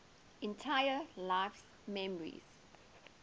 entire life's memories